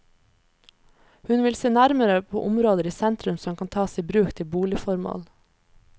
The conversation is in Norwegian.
Hun vil se nærmere på områder i sentrum som kan tas i bruk til boligformål.